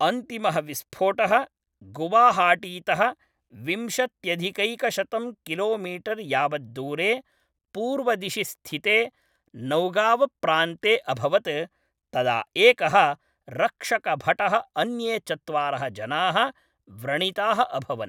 अन्तिमः विस्फोटः गुवाहाटीतः विंशत्यधिकैकशतं किलोमीटर् यावद्दूरे पूर्वदिशि स्थिते नौगावप्रान्ते अभवत्, तदा एकः रक्षकभटः अन्ये चत्वारः जनाः व्रणिताः अभवन्।